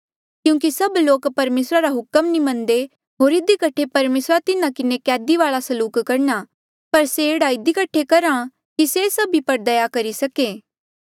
क्यूंकि सभ लोक परमेसरा रा हुक्म नी मन्नदे होर इधी कठे परमेसरा तिन्हा किन्हें कैदी वाल्आ सलूक करहा पर से एह्ड़ा इधी कठे करहा कि से सभी पर दया करी सके